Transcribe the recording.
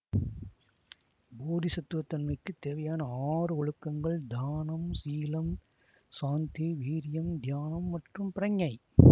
போதிசத்துவத் தன்மைக்கு தேவையான ஆறு ஒழுக்கங்கள் தானம் சீலம் சாந்திவீர்யம் தியானம் மற்றும் பிரக்ஞை